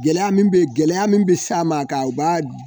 Gɛlɛya gɛlɛya min bɛ sa a ma k'a ba'a